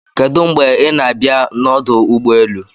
Kedu mgbe ị na-abịa n'ọdụ ụgbọelụ?